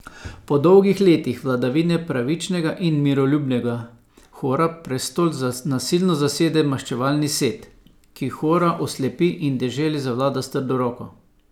Po dolgih letih vladavine pravičnega in miroljubnega Hora prestol nasilno zasede maščevalni Set, ki Hora oslepi in deželi zavlada s trdo roko.